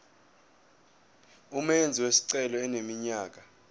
umenzi wesicelo eneminyaka